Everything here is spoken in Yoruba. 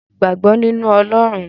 Mo gbàgbọ́ nínu Ọlọrun.